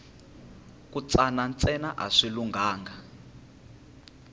ku tshana ntsena a swi lunghanga